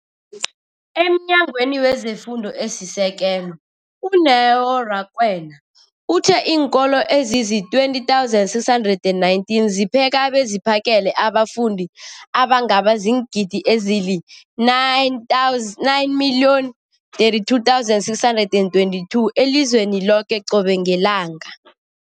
EmNyangweni wezeFundo esiSekelo, u-Neo Rakwena, uthe iinkolo ezizi-20 619 zipheka beziphakele abafundi abangaba ziingidi ezili-9 032 622 elizweni loke qobe ngelanga.